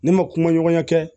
Ne ma kuma ɲɔgɔnya kɛ